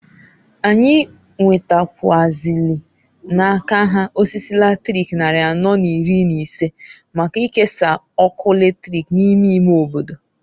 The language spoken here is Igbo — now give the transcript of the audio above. Anyị nwetakwụazịlị n'aka ha osisi latrik nnarị anọọ n'iri n'ise, maka nkesa ọkụ latrik n'ime ime obodo.